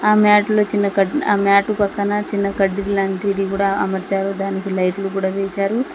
ఆ మ్యాట్ ల చిన్న కడ్ని ఆ మ్యాట్ పక్కన చిన్న కడ్డీలాంటి ది కూడా అమర్చారు దానికి లైట్లు కూడా వేశారు.